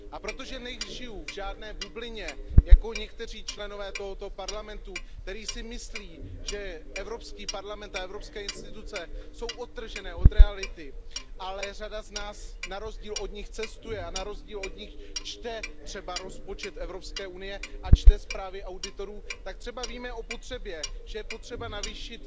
A protože nežiju v žádné bublině jako někteří členové tohoto Parlamentu, kteří si myslí, že Evropský parlament a evropské instituce jsou odtržené od reality, ale řada z nás na rozdíl od nich cestuje a na rozdíl od nich čte třeba rozpočet Evropské unie a čte zprávy auditorů, tak třeba víme o tom, že je potřeba navýšit